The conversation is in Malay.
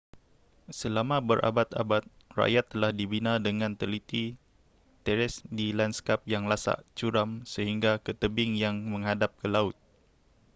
selama berabad-abad rakyat telah dibina dengan teliti teres di landskap yang lasak curam sehingga ke tebing yang menghadap ke laut